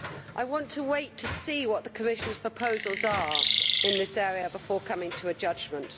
I want to wait and see what the Commission's proposals are in this area before making a judgement.